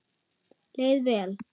Leið vel.